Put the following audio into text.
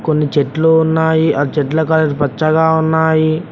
కొన్ని చెట్లు ఉన్నాయి పచ్చగా ఉన్నాయి ఆ చెట్ల కలర్ పచ్చగా ఉన్నాయి